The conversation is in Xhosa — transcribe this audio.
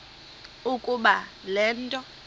ukuba le nto